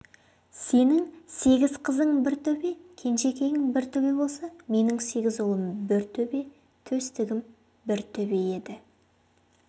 сенің сегіз қызың бір төбе кенжекейің бір төбе болса менің сегіз ұлым бір төбе төстігім бір төбе еді